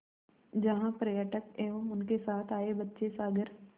जहाँ पर्यटक एवं उनके साथ आए बच्चे सागर